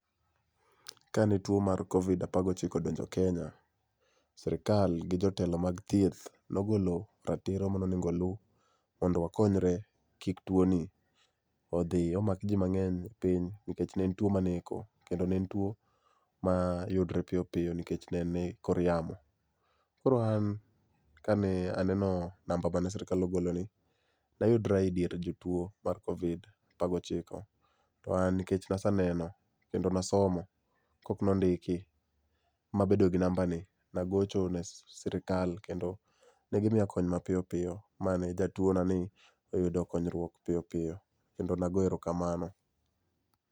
Kane tuo mar Covid apar gochiko odonjo Kenya, sirkal gi jotelo mag thieth nogolo ratiro mane onego oluu mondo wakonyre kik tuoni odhi omak jii mangeny e piny nikech ne en tuo maneko kendo ne en tuo mayudre mapiyo piyo nikech ne en e kor yamo. Koro an kane aneno namba mane sirkal ogolo ni, nayudra e dier jotuo mar Covid 1apar gochiko, to an nikech naseneno kendo nasomo pok nondiki, mabedo gi namba ni, nagocho ne sirkal kendo ne gimiya kony mapiyo piyo mane jatuo na ni noyudo konyruok mapiyo piyo kendo nago erokamano